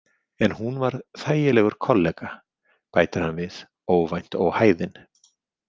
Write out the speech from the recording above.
En hún var þægilegur kollega, bætir hann við, óvænt óhæðinn.